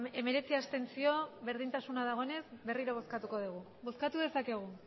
hemeretzi abstentzio berdintasun dagoenez berriro bozkatu dugu bozkatu dezakegu